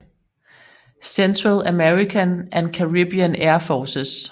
Central American and Caribbean Air Forces